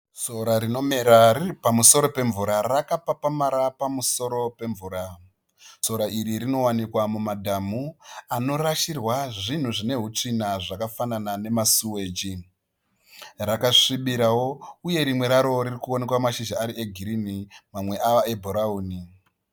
Sora rinomera riri pamusoro pemvura rakapapamara pamusoro pemvura. Sora iri rinowanikwa mumadhamu anorashirwa zvinhu zvine hutsvina zvakafanana nema siweji. Rakasvibirawo uye rimwe raro ririkuoneka mashizha ari e girinhi mamwe ava e bhurauni.